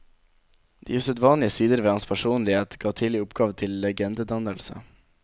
De usedvanlige sider ved hans personlighet ga tidlig opphav til legendedannelse.